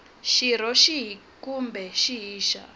xirho xihi kumbe xihi xa